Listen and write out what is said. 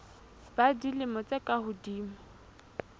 ba dilemo tse ka hodimo